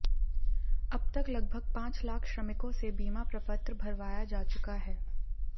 अब तक लगभग पांच लाख श्रमिकों से बीमा प्रपत्र भरवाया जा चुका है